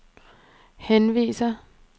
henviser